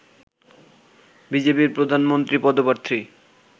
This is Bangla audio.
বিজেপির প্রধানমন্ত্রী পদপ্রার্থী